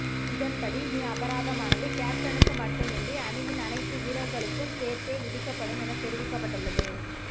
இதன்படி இனி அபராதமானது கேப்டனுக்கு மட்டுமின்றி அணியின் அனைத்து வீரர்களுக்கும் சேர்த்தே விதிக்கப்படும் என தெரிவிக்கப்பட்டுள்ளது